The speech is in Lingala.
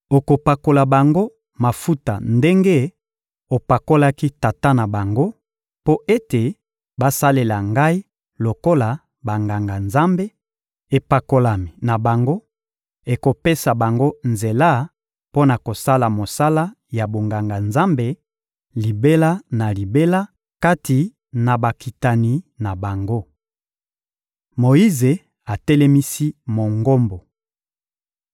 Okopakola bango mafuta ndenge opakolaki tata na bango, mpo ete basalela Ngai lokola Banganga-Nzambe: epakolami na bango ekopesa bango nzela mpo na kosala mosala ya bonganga-Nzambe libela na libela kati na bakitani na bango. Moyize atelemisi Mongombo